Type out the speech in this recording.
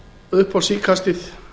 upp á síðkastið